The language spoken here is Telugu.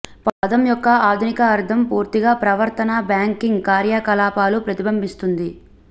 పదం యొక్క ఆధునిక అర్ధం పూర్తిగా ప్రవర్తన బ్యాంకింగ్ కార్యకలాపాలు ప్రతిబింబిస్తుంది